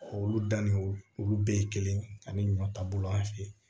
Olu da ni olu bɛɛ ye kelen ani ɲɔ ta bolo an fe yen